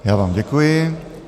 Já vám děkuji.